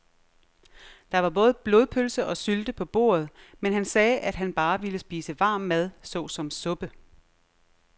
Der var både blodpølse og sylte på bordet, men han sagde, at han bare ville spise varm mad såsom suppe.